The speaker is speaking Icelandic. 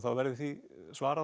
verði því svarað